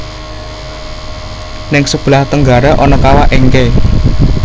Ning sebelah tenggara ana kawah Encke